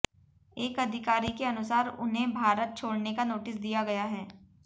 एक अधिकारी के अनुसार उन्हें भारत छोड़ने का नोटिस दिया गया है